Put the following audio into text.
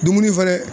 Dumuni fɛnɛ